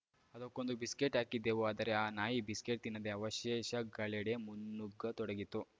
ಅದಕ್ಕೊಂದು ಬಿಸ್ಕೆಟ್‌ ಹಾಕಿದೆವು ಆದರೆ ಆ ನಾಯಿ ಬಿಸ್ಕೆಟ್‌ ತಿನ್ನದೆ ಅವಶೇಷಗಳೆಡೆ ಮುನ್ನುಗ್ಗತೊಡಗಿತ್ತು